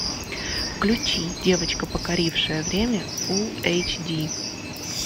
включи девочка покорившая время фул эйч ди